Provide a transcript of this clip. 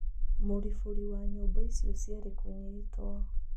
Mũribũri wa nyũmba icio cierĩ kũnyitwo.